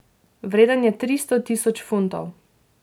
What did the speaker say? Vreden je tristo tisoč funtov.